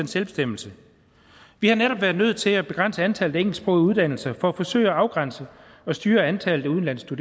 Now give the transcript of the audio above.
selvbestemmelse vi har netop været nødt til at begrænse antallet af engelsksprogede uddannelser for at forsøge at afgrænse og styre antallet af udenlandske